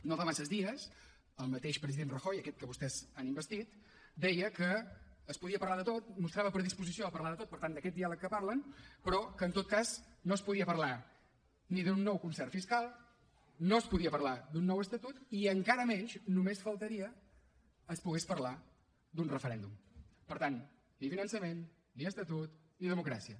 no fa massa dies el mateix president rajoy aquest que vostès han investit deia que es podia parlar de tot mostrava predisposició a parlar de tot per tant d’aquest diàleg que parlen però que en tot cas no es podia parlar d’un nou concert fiscal no es podia parlar d’un nou estatut ni encara menys només faltaria es podria parlar d’un referèndum per tant ni finançament ni estatut ni democràcia